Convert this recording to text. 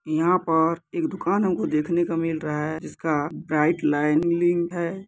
यहाँ पर एक दुकान हमको देखने को मिल रहा है जिसका ब्राइट लाइनीग है।